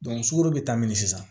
sukaro be taa min na sisan